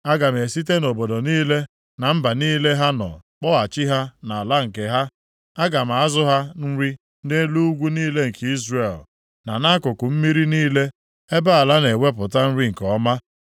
Aga m esite nʼobodo niile, na mba niile ha nọ kpọghachi ha nʼala nke ha. Aga m azụ ha nri nʼelu ugwu niile nke Izrel, na nʼakụkụ mmiri niile, ebe ala na-ewepụta nri nke ọma.